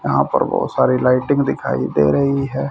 यहां पर बहोत सारे लाइटिंग दिखाई दे रही है।